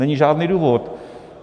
Není žádný důvod.